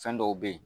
Fɛn dɔw be ye